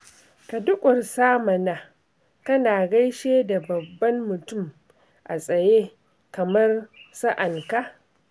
Ka durƙusa mana, kana gaishe da babban mutum a tsaye kamar sa'anka